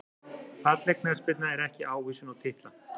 Falleg knattspyrna ekki ávísun á titla